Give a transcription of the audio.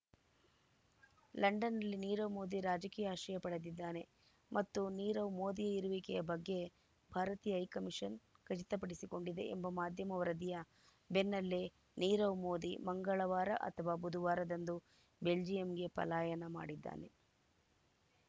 ಲಂಡನ್‌ನಲ್ಲಿ ನೀರವ್‌ ಮೋದಿ ರಾಜಕೀಯ ಆಶ್ರಯ ಪಡೆದಿದ್ದಾನೆ ಮತ್ತು ನೀರವ್‌ ಮೋದಿಯ ಇರುವಿಕೆಯ ಬಗ್ಗೆ ಭಾರತೀಯ ಹೈಕಮಿಷನ್‌ ಖಚಿತಪಡಿಸಿಕೊಂಡಿದೆ ಎಂಬ ಮಾಧ್ಯಮ ವರದಿಯ ಬೆನ್ನಲ್ಲೇ ನೀರವ್‌ ಮೋದಿ ಮಂಗಳವಾರ ಅಥವಾ ಬುಧವಾರದಂದು ಬೆಲ್ಜಿಯಂಗೆ ಪಲಾಯನ ಮಾಡಿದ್ದಾನೆ